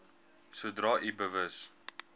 sodra u bewus